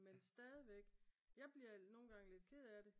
Men stadigvæk jeg bliver nogen gange lidt ked af det